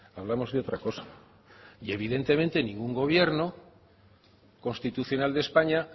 hablamos de otra cosa y evidentemente ningún gobierno constitucional de españa